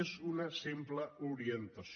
és una simple orientació